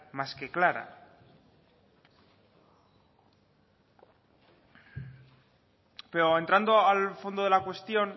más que clara pero entrando al fondo de la cuestión